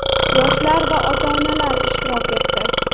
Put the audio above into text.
yoshlar va ota-onalar ishtirok etdi.